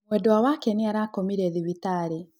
Mwendwa wake nĩarakomire thibitarĩ.